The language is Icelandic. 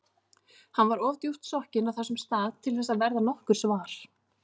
Hann var of djúpt sokkinn á þessum stað til þess að verða nokkurs var.